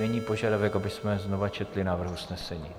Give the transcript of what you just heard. Není požadavek, abychom znovu četli návrh usnesení?